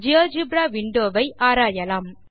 GeoGebra window வை ஆராயலாம்